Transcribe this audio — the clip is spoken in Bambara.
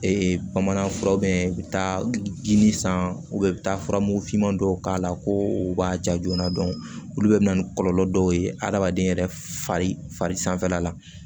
bamanan fura u bɛ taa jini san u bɛ taa furamugufinman dɔw k'a la ko u b'a ja joona olu bɛɛ bɛ na ni kɔlɔlɔ dɔw ye adamaden yɛrɛ fari sanfɛla la